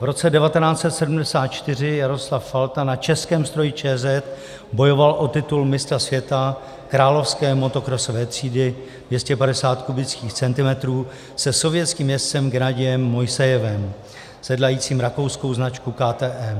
V roce 1974 Jaroslav Falta na českém stroji ČZ bojoval o titul mistra světa královské motokrosové třídy 250 kubických centimetrů se sovětským jezdcem Gennadijem Mojsejevem, sedlajícím rakouskou značku KTM.